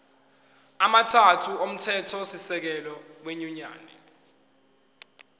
amathathu omthethosisekelo wenyunyane